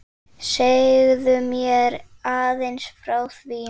Segðu mér aðeins frá því?